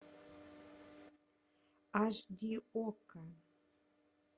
аш ди окко